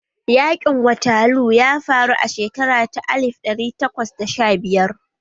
Yaƙin waterloo ya faru a shekara ta alif ɗari takwas da sha biyar